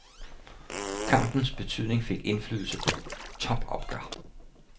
Kampens betydning fik indflydelse på topopgør.